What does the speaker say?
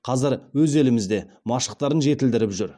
қазір өз елімізде машықтарын жетілдіріп жүр